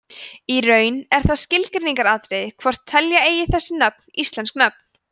í raun er það skilgreiningaratriði hvort telja eigi þessi nöfn íslensk nöfn